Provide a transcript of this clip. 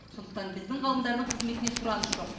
сондықтан біздің ғалымдардың қызметіне сұраныс жоқ